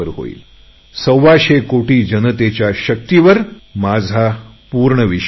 माझा सव्वाशे कोटी जनतेच्या शक्तिवर माझा पूर्ण विश्वास आहे